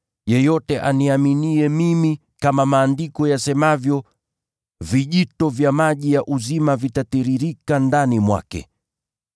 Yeyote aniaminiye mimi, kama Maandiko yasemavyo, vijito vya maji ya uzima vitatiririka ndani mwake.”